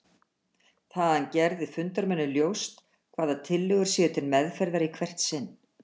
það að hann geri fundarmönnum ljóst hvaða tillögur séu til meðferðar í hvert sinn.